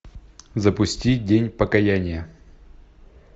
запусти день покаяния